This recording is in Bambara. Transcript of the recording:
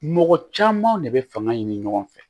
Mɔgɔ camanw de be fanga ɲini ɲɔgɔn fɛ